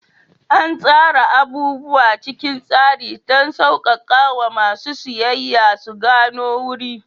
An tsara abubuwa cikin tsari don sauƙaƙawa masu siyayya su gano wuri.